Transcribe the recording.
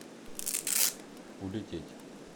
улететь